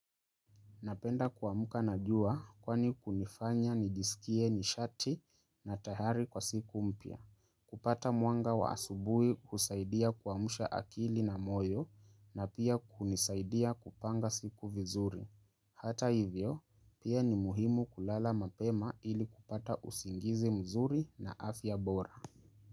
Napenda kuamuka na jua kwani kunifanya nijisikie nishati na tahari kwa siku mpya. Kupata mwanga wa asubui kusaidia kuamusha akili na moyo na pia hunisaidia kupanga siku vizuri. Hata hivyo pia ni muhimu kulala mapema ili kupata usingizi mzuri na afya bora.